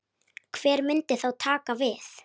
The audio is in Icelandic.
Hver myndi þá taka við?